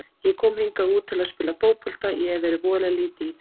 Ég kom hingað út til að spila fótbolta, ég hef verið voðalega lítið í því.